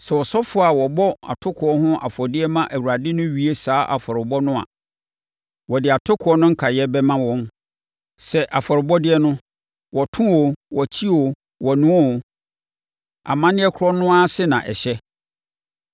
Sɛ asɔfoɔ a wɔbɔ atokoɔ ho afɔdeɛ ma Awurade no wie saa afɔrebɔ no a, wɔde atokoɔ no nkaeɛ bɛma wɔn. Sɛ afɔrebɔdeɛ no, wɔto o, wɔkye o, wɔnoa o, amanneɛ korɔ no ara ase na ɛhyɛ.